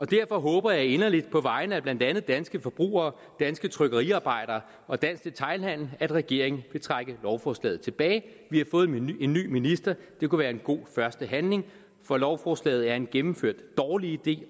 derfor håber jeg inderligt på vegne af blandt andet danske forbrugere danske trykkeriarbejdere og dansk detailhandel at regeringen vil trække lovforslaget tilbage vi har fået en ny minister det kunne være en god første handling for lovforslaget er en gennemført dårlig idé